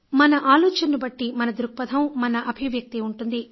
మన ఆలోచనను బట్టి మన దృక్పథం మన అభివ్యక్తి ఉంటుంది